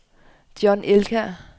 John Elkjær